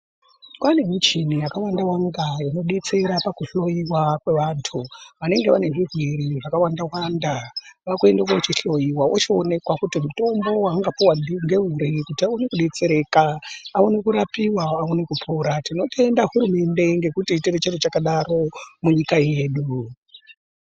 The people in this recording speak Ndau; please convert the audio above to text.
Kwavane muchini yakawanda wanda inodetsera pakuhloyiwa kwevantu vanenge vane zvirwere zvakawanda wanda kwakuchienda kunochihloyiwa kuti aonekwe kupiwa mutombo waanga puwa ngouri kuti awane kudetsereka aone kurapiwa awone kupora tinotenda hurumende nekutiitira chiro chakadaro.